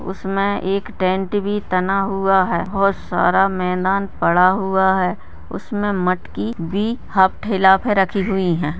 उसमें एक टेंट भी तना हुआ है और सारा मैदान पड़ा हुआ है उसमें मटकी भी ठेला पर रखी हुई है।